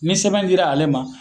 Ni sɛbɛn di la ale ma